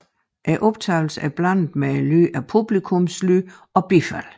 Optagelsen er blandet med lyden af publikumslyd og bifald